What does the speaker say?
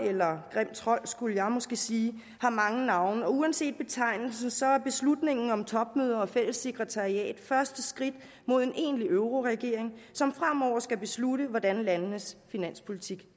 eller grim trold skulle jeg måske sige har mange navne og uanset betegnelsen så er beslutningen om topmøder og fælles sekretariat første skridt mod en egentlig euroregering som fremover skal beslutte hvordan landenes finanspolitik